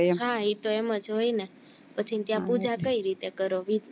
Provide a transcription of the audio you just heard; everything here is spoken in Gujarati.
હા ઈ તો એમજ હોય ને પછી ત્યાં પૂજા કઈ રીતે કરો